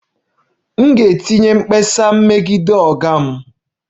M ga-etinye mkpesa megide oga m